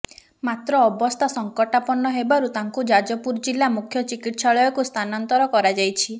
ମାତ୍ର ଅବସ୍ଥା ସଂକଟାପନ୍ନ ହେବାରୁ ତାଙ୍କୁ ଯାଜପୁର ଜିଲ୍ଲା ମୁଖ୍ୟ ଚିକିତ୍ସାଳୟକୁ ସ୍ଥାନାନ୍ତର କରାଯାଇଛି